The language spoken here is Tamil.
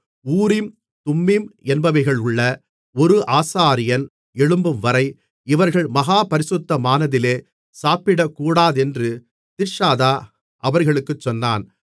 ஊரீம் தும்மீம் என்பவைகளுள்ள ஒரு ஆசாரியன் எழும்பும்வரை இவர்கள் மகா பரிசுத்தமானதிலே சாப்பிடக்கூடாதென்று திர்ஷாதா அவர்களுக்குச் சொன்னான்